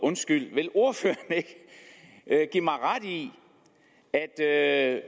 vil ordføreren ikke give mig ret i at